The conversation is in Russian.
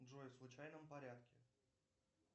джой в случайном порядке